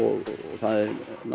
það er